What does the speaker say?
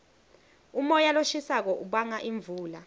umoya loshisako ubanga imvula